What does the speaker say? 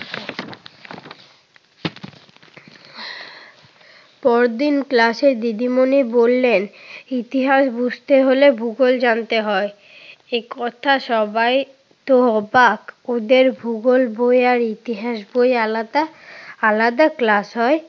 পরদিন ক্লাসে দিদিমণি বললেন, ইতিহাস বুঝতে হলে ভূগোল জানতে হয়। এ কথায় সবাই তো অবাক! ওদের ভূগোল বই আর ইতিহাস বই আলাদা, আলাদা ক্লাস হয়।